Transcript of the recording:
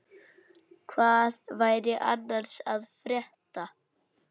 Hvað væri annars að frétta?